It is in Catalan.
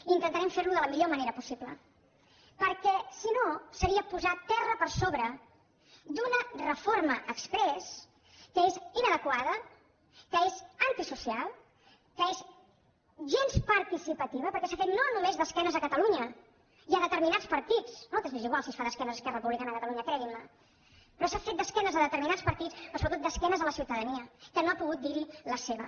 i intentarem fer lo de la millor manera possible perquè si no seria posar terra per sobre d’una reforma exprés que és inadequada que és antisocial que és gens participativa perquè s’ha fet no només d’esquenes a catalunya i a determinats partits a nosaltres ens és igual si es fa d’esquenes a esquerra republicana de catalunya creguin me però s’ha fet d’esquenes a determinats partits però sobretot d’esquenes a la ciutadania que no ha pogut dir hi la seva